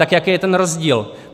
Tak jaký je ten rozdíl?